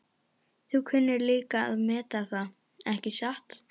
Þú kunnir líka að meta það, ekki satt?